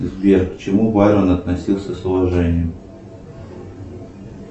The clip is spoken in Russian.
сбер к чему байрон относился с уважением